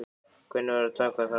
Hvernig væri að taka það upp?